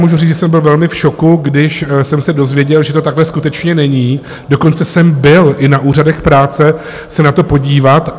Mohu říci, že jsem byl velmi v šoku, když jsem se dozvěděl, že to takhle skutečně není, dokonce jsem byl i na úřadech práce se na to podívat.